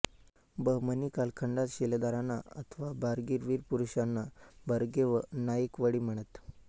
बहमनी कालखंडात शिलेदारांना अथवा बारगीर वीर पुरुषांना बर्गे व नाइकवडी म्हणत